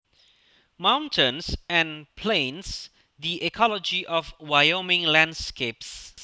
Mountains and plains the ecology of Wyoming landscapes